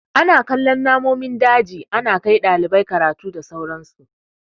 Ana kallon namomin daji, ana kai ɗalibai karatu da sauran su.